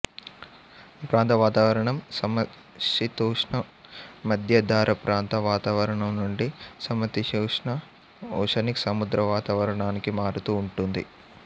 ఈప్రాంత వాతావరణం సమశీతోష్ణ మద్యధరాప్రాంత వాతావరణం నుండి సమశీతోష్ణ ఓషనిక్ సముద్రవాతావరణానికి మారుతూ ఉంటుంది